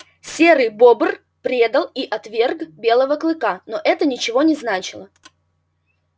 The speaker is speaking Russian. серый бобр предал и отверг белого клыка но это ничего не значило